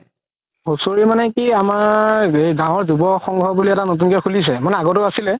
হুচৰি মানে কি আমাৰ গাওৰ যুৱ সংঘ বুলি এটা নতুন কে খুলিছে মানে আগতও আছিলে